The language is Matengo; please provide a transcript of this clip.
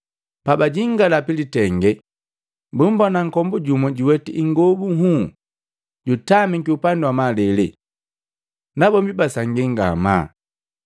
Pabajingala pilitenge, bumbona nkombu jumwa juweti ingobu nhunhu, jutamiki upandi wa malele. Nabombi basangia ngamaa.